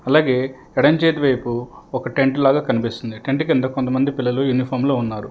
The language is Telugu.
అలాగే ఏడెం చేత వైపు ఒక టెంట్లాగా కనిపిస్తుంది టెంట్ కింద కొంతమంది పిల్లలు యూనిఫాంలో ఉన్నారు.